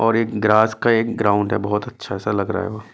और एक ग्रास का एक ग्राउंड है बहुत अच्छा ऐसा लग रहा है वो--